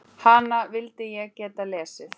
Hana vildi ég geta lesið.